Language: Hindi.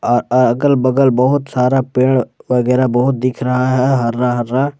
अ अगल बगल बहुत सारा पेड़ वगैरा बहुत दिख रहा है हरा हरा।